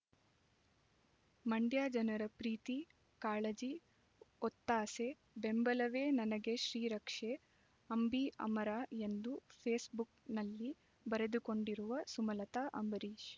ಮಂಡ್ಯ ಜನರ ಪ್ರೀತಿ ಕಾಳಜಿ ಒತ್ತಾಸೆ ಬೆಂಬಲವೇ ನನಗೆ ಶ್ರೀರಕ್ಷೆ ಅಂಬಿ ಅಮರ ಎಂದು ಫೇಸ್ ಬುಕ್‌ನಲ್ಲಿ ಬರೆದುಕೊಂಡಿರುವ ಸುಮಲತ ಅಂಬರೀಷ್